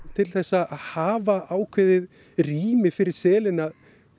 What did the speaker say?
til að hafa ákveðið rými fyrir selina